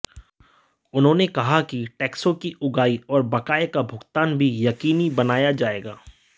उन्होंने कहा कि टैक्सों की उगाही और बकाये का भुगतान भी यकीनी बनाया जाएगा